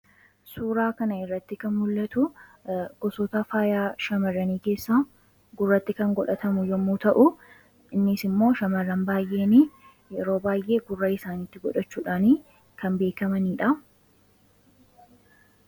suuraa kana irratti kan mul'atu a faayaa shamarranii keessa gurratti kan godhatamu yommuu ta'u innis immoo shamar'an baayeeni yeroo baay'ee gurra isaanitti godhachuudhaanii kan beekamaniidha.